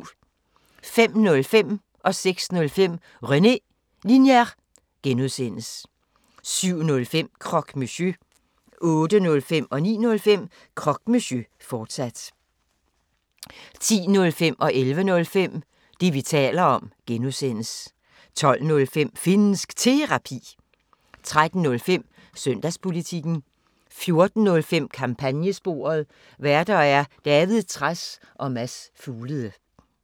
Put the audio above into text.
05:05: René Linjer (G) 06:05: René Linjer (G) 07:05: Croque Monsieur 08:05: Croque Monsieur, fortsat 09:05: Croque Monsieur, fortsat 10:05: Det, vi taler om (G) 11:05: Det, vi taler om (G) 12:05: Finnsk Terapi 13:05: Søndagspolitikken 14:05: Kampagnesporet: Værter: David Trads og Mads Fuglede